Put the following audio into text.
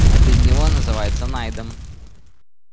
а без него называешь найдом